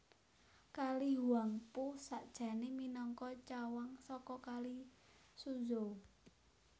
Kali Huangpu sakjané minangka cawang saka Kali Suzhou